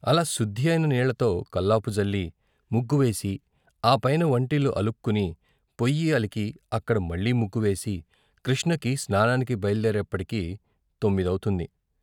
అలా సుద్ది అయిన నీళ్ళతో కల్లాపు జల్లి, ముగ్గువేసి ఆపైన వంటిల్లు అలుక్కుని పొయ్యి అలికి అక్కడ మళ్ళీ ముగ్గు వేసి కృష్ణకి స్నానానికి బయల్దేరేప్పటికి తొమ్మిదపుతుంది.